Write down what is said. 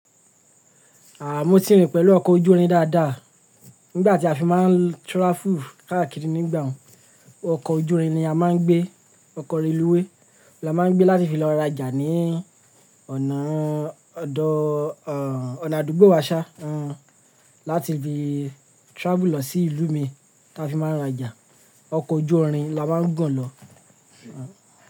Aà, mo ti rìn pẹ̀lú ọkọ̀ ojúrin dáadáa. Nígbà tí a fi máa ń travel káàkiri nígbà ọ̀ún, ọkọ̀ ojúrin ni a máa ń gbé, ọkọ̀ reluwé la máa ń gbé láti fi lọ rajà ní ọ̀nà, ọ̀dọ̀, o ọ̀nà àdúgbò wa ṣá, láti ibi travel lọ sí ìlú mi ta fi máa ń rajà. Ọkọ̀ ojúrin la máa ń gun lọ.